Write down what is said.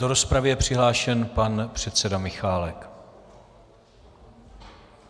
Do rozpravy je přihlášen pan předseda Michálek.